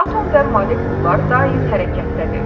Atom və molekullar daim hərəkətdədir.